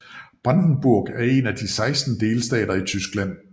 Brandenburg er en af de 16 delstater i Tyskland